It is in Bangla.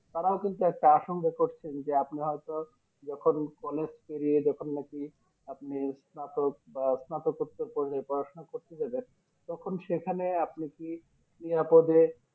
তারাও কিন্তু একটা আসংখ্যা করছেন যে আপনি হয়তো যখন College পেরিয়ে যখন নাকি আপনি স্নাতক বা স্নাতকতা থেকে পড়াশোনা করতে যাবেন তখন সেখানে আপনি কি নিরাপদে